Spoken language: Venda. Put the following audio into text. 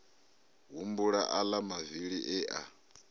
humbula aḽa mavili e a